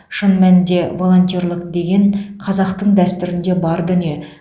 шын нәнінде волонтерлік деген қазақтың дәстүрінде бар дүние